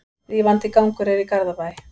Rífandi gangur er í Garðabæ.